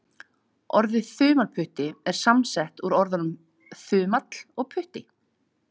Orðið þumalputti er samsett úr orðunum þumall og putti.